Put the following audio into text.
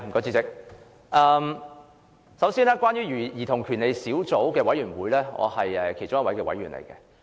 主席，我是兒童權利小組委員會的委員。